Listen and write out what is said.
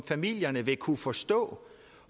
familierne vil kunne forstå